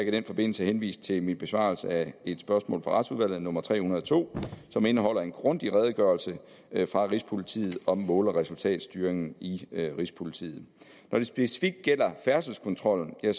i den forbindelse henvise til min besvarelse af et spørgsmål fra retsudvalget nummer tre hundrede og to som indeholder en grundig redegørelse fra rigspolitiet om mål og resultatstyringen i rigspolitiet når det specifikt gælder færdselskontrollen er